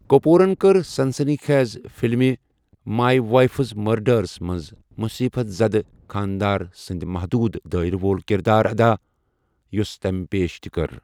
کٔپوٗرن کٔر سنسنی خیز فِلمہِ مای وایفز مٔرڈرَس منٛز مُصیٖبت زد خانٛدار سٕٗنٛدِ محدوُد دٲیرٕ وول كِردار ادا، یوسہٕ تمہِ پیش تہِ كٕر ۔